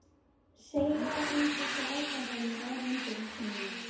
Segja um þessar ákvarðanir á hendur þínar?